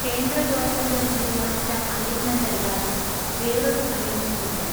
കേന്ദ്ര ഗവൺമെന്റ് തീരുമാനിച്ച അലൈൻമെന്റല്ലാതെ വേറൊരു അലൈൻമെൻറില്ല.